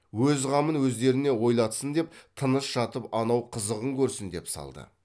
өз қамын өздеріне ойлатсын деп тыныш жатып анау қызығын көрсін деп салды